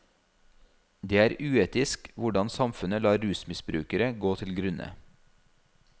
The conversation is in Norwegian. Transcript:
Det er uetisk hvordan samfunnet lar rusmisbrukere gå til grunne.